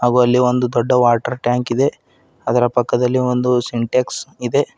ಒ ಅಲ್ಲಿ ಒಂದು ದೊಡ್ಡ ವಾಟರ್ ಟ್ಯಾಂಕ್ ಇದೆ ಅದರ ಪಕ್ಕದಲ್ಲಿ ಒಂದು ಸಿಂಟ್ಯಾಕ್ಸ್ ಇದೆ.